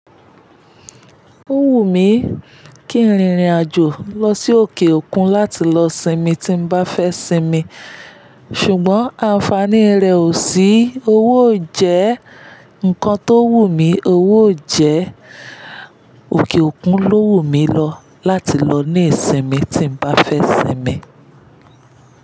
Ó wù mí kí n rìnrìn àjò lọ sí òkè òkun láti lọ sinmi tí n bá fẹ́ sinmi, ṣùgbọ́n àǹfààní rẹ̀ ò sí. Owó ò jẹ́ nǹkan tó wù mí, owó ò jẹ́ òkè òkun ló wù mí lọ láti lọ ní ìsinmi tí n bá fẹ́ sinmi.